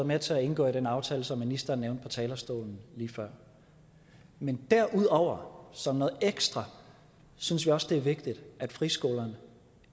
med til at indgå den aftale som ministeren nævnte på talerstolen lige før men derudover som noget ekstra synes vi også det er vigtigt at friskolerne